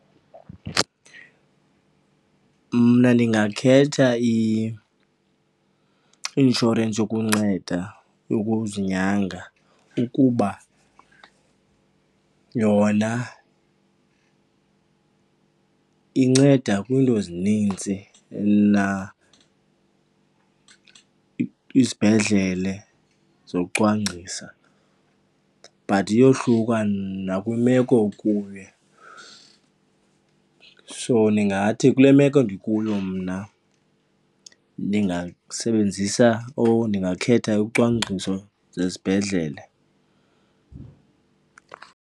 Mna ndingakhetha i-inshorensi yokunceda yokuzinyanga ukuba yona inceda kwiinto ezinintsi izibhedlele zokucwangcisa but iyohluka nakwimeko okuyo. So ndingathi kule meko ndikuyo mna, ndingasebenzisa or ndingakhetha ucwangciso zesibhedlele.